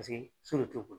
Paseke so de t'o bolo